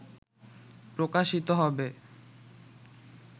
প্রকাশিত হবে